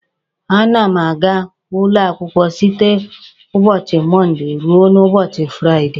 A na m a ga ụlọakwụkwọ site n'ụbọchị Mọnde ruo n'ụbọchị Firaide.